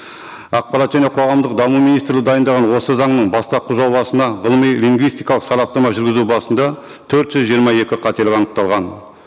ақпарат және қоғамдық даму министрі дайындаған осы заңның бастапқы жобасына ғылыми лингвистикалық сараптама жүргізу барысында төрт жүз жиырма екі қателік анықталған